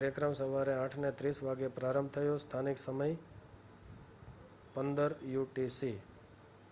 કાર્યક્રમ સવારે 8:30 વાગ્યે પ્રારંભ થયો. સ્થાનિક સમય 15.00 યુટીસી